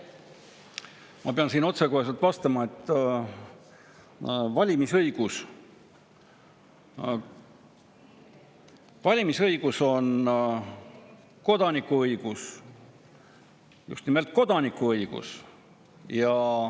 Ma pean otsekoheselt vastama, et valimisõigus on kodanikuõigus, just nimelt kodanikuõigus.